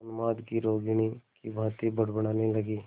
उन्माद की रोगिणी की भांति बड़बड़ाने लगी